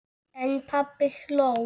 En pabbi hló.